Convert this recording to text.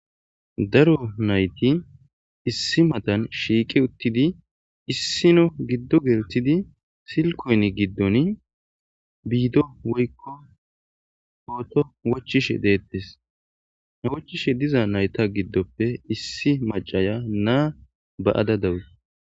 Daro nayti issi matan shiiqe uttidi issino giddo geltidi silkoynn giddon biido woyiko hooto wochishe deettes he wochishe diza nayta giddoppe issi macaya naa ba'ada dawus